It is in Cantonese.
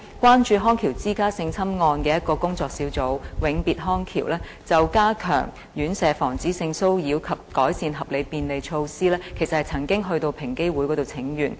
關注康橋之家性侵案的一個工作小組"永別康橋"早前就加強院舍防止性騷擾及改善合理便利措施，曾經前往平等機會委員會請願。